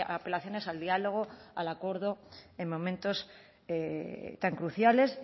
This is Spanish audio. apelaciones al diálogo al acuerdo en momentos tan cruciales